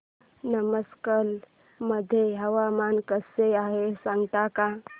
नमक्कल मध्ये हवामान कसे आहे सांगता का